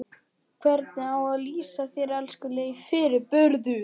Hvernig á ég að lýsa þér, elskulegi fyrirburður?